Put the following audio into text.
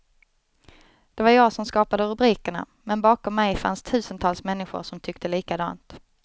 Det var jag som skapade rubrikerna, men bakom mig fanns tusentals människor som tyckte likadant.